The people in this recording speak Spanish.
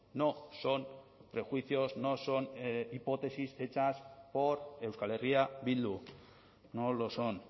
no son prejuicios no son hipótesis hechas por euskal herria bildu no lo son